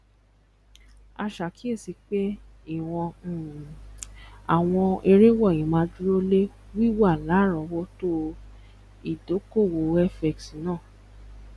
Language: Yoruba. a ṣe àkíyèsí pé ìwọn um àwọn èrè wọnyí máa dúró lé wíwà larowoto idokowo fx náà